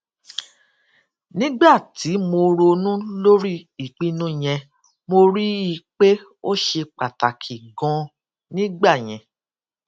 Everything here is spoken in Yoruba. nígbà tí mo ronú lórí ìpinnu yẹn mo rí i pé ó ṣe pàtàkì ganan nígbà yẹn